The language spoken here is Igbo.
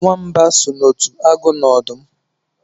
Nwamba so n'otu agụ na ọdụm